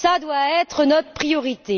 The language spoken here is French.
elle doit être notre priorité.